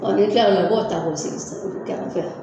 O kila o la ko ka taa